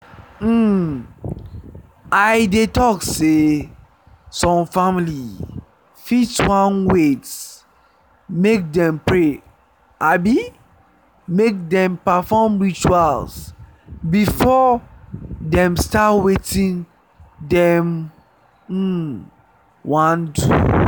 um i dey talk sey some family fit wan wait make dem pray abi make them perfore rituals before dem start wetin dem um wan do